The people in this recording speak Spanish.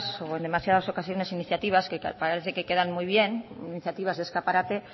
o en demasiadas ocasiones iniciativas que parece que quedan muy bien iniciativas de escaparate